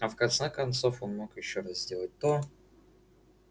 а в конце концов он мог и ещё раз сделать то